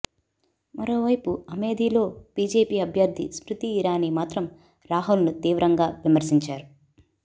మరోవైపు అమేథీలో బీజేపీ అభ్యర్ధి స్మృతీ ఇరానీ మాత్రం రాహుల్ ను తీవ్రంగా విమర్శించారు